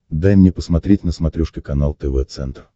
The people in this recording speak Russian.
дай мне посмотреть на смотрешке канал тв центр